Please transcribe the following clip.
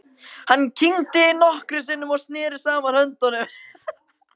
Hann kyngdi nokkrum sinnum og neri saman höndunum.